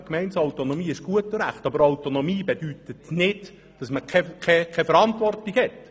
Gemeindeautonomie ist gut und recht, aber Autonomie bedeutet nicht, dass man keine Verantwortung hat.